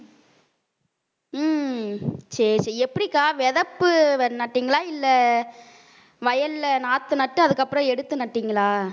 உம் சரி சரி எப்படிக்கா விதப்பு நட்டீங்களா இல்லை வயல்ல நாத்து நட்டு அதுக்கப்புறம் எடுத்து நட்டீங்களா